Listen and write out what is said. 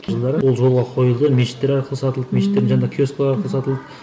ол жолға қойылды мешіттер арқылы сатылды мешіттер жанындағы киоскілер арқылы сатылды